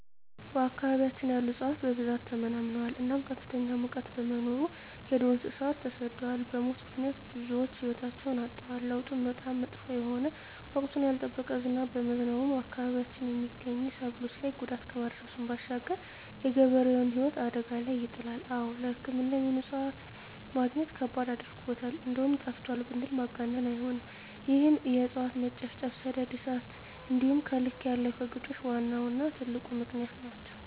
በአካባቢያችን ያሉ እፅዋት በብዛት ተመናምነዋል እናም ከፍተኛ ሙቀት በመኖሩ የዱር እንሰሳት ተሰደዋል በሙት ምክንያት ብዙወች ህይወታቸዉን አጠዋል። ለዉጡም በጣም መጥፎ የሆነ ወቅቱን ያልጠበቀ ዝናብ በመዝነቡ በአካባቢያችን የመገኙ ሰብሎች ላይ ጉዳት ከማድረሱም ባሻገር የገበሬዉን ህይወት አደጋ ላይ ይጥላል። አወ ለሕክምና የሚሆኑ እፅዋትን መግኘት ከባድ አድርጎታል እንደዉም ጠፍተዋል ብንል ማጋነን አይሆንም ይህም የእፅዋት መጨፍጨፍ፣ ሰደድ እሳት እንዲሆም ከልክ ያለፈ ግጦሽ ዋነኛዉና ትልቁ ምክንያት ናቸዉ።